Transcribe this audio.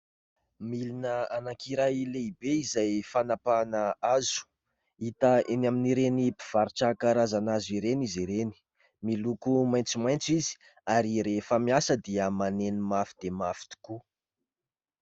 Milina anankiray lehibe izay fanapahana hazo . hita eny amin'ireny mpivarotra karazana hazo ireny izy ireny, miloko maitsomaitso izy ary rehefa miasa dia maneno mafy dia mafy tokoa.